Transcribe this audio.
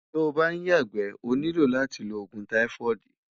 tó ǹ bá yaàgbé, ó nílò látí ló ògún tífóídí